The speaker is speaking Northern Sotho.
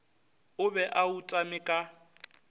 o be a utame ka